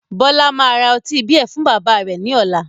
Bọlá máa ra ọtí beer fún bàbá rẹ̀ ni ọ̀la